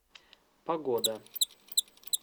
погода